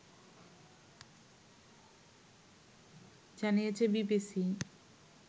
জানিয়েছে বিবিসি